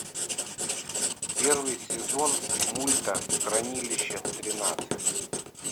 первый сезон мульта хранилище тринадцать